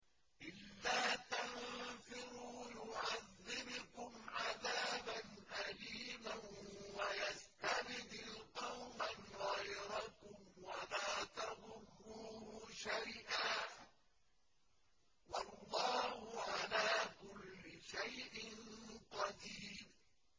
إِلَّا تَنفِرُوا يُعَذِّبْكُمْ عَذَابًا أَلِيمًا وَيَسْتَبْدِلْ قَوْمًا غَيْرَكُمْ وَلَا تَضُرُّوهُ شَيْئًا ۗ وَاللَّهُ عَلَىٰ كُلِّ شَيْءٍ قَدِيرٌ